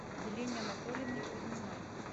елене анатольевне кузьминой